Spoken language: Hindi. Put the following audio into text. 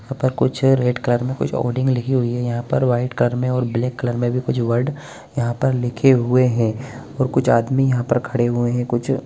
ओय पर कुछ रेड कलर में ओर्डिंग लिखी हुई है यहाँ पर व्हाइट कलर में और ब्लैक कलर में भी कुछ वॉर्ड यहाँ पर लिखे हुए हैं और कुछ आदमी यहाँ पर खड़े हुए हैं कुछ --